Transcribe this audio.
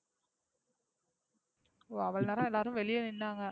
அவளோ நேரம் எல்லாரும் வெளிய நின்னாங்க.